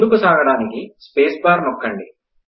ముందుకు సాగడానికి space bar నొక్కండి